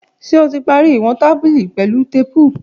Ṣe o ti pari iwọn tabili pẹlu teepu?